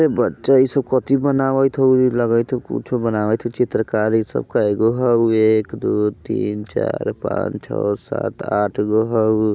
ए बच्चा इ सब कथी बनावत होऊ लगेत होऊ कुछो बनावत होऊ चित्रकारी सब कैगो होऊ एक दू तीन चार पाँच छो सात आठ गो होऊ।